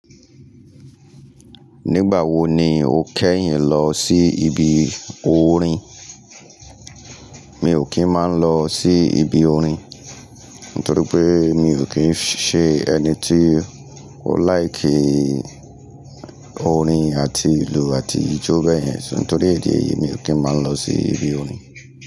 Nígbà wo ni o kẹ́yìn lọ sí ibi orin? Mi ò kí ń má lọ sí ibi orin, nítorí pé mi ò kí ń ṣe ẹni tí ó like orin àti ìlù àti ijó bẹ́yẹn. So. Nítorí ìdí è yí mi ò kí ń má lọ sí ibi orin.